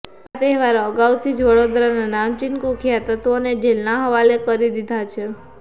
આ તહેવારો આગાઉથી જ વડોદરાના નામચીન કુખ્યાત તત્વોને જેલના હવાલે કરી દીધા છે